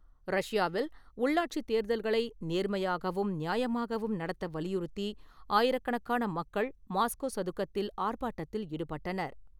ரஷ்யாவில் உள்ளாட்சித் தேர்தல்களை நேர்மையாகவும் நியாயமாகவும் நடத்த வலியுறுத்தி ஆயிரக்கணக்கான மக்கள் மாஸ்கோ சதுக்கத்தில் ஆர்ப்பாட்டத்தில் ஈடுபட்டனர்.